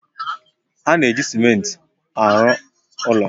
Ha na-eji simenti arụ ụlọ